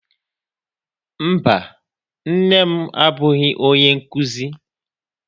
Mba, nne m abụghị onye nkuzi.